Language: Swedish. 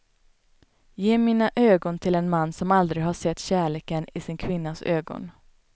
Ge mina ögon till en man som aldrig har sett kärleken i sin kvinnas ögon.